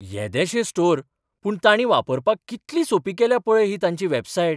येदेशें स्टोर, पूण तांणी वापरपाक कितली सोंपी केल्या पळय ही तांची वॅबसायट.